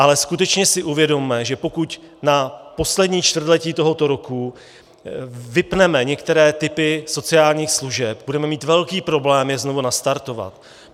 Ale skutečně si uvědomme, že pokud na poslední čtvrtletí tohoto roku vypneme některé typy sociálních služeb, budeme mít velký problém je znovu nastartovat.